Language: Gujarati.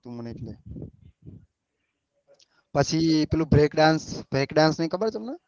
પછી પેલું break dancebreak dance નું ખબર તમને